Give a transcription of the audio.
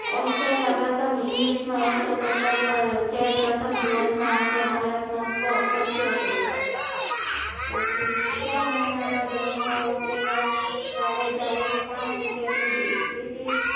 Australia પ્રથમ ઈંગ્લીશ માં એક્સો સત્તર પર પ્રથમ દિવસ ના અંતે ભારત નો સ્કોર સીતીયોતેર પછી છ મહિના બાદ રમવા ઉતરેલા જાડેજા એ પાંચ વિકેટ લીધી.